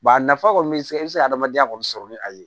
a nafa kɔni bɛ se e bɛ se ka adamadenya kɔni sɔrɔ ni a ye